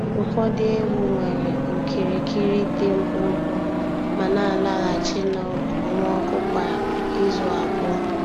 Ụfọdụ ewu nwere okirikiri dị mkpụmkpụ ma na-alaghachi n’okpomọkụ kwa izu abụọ.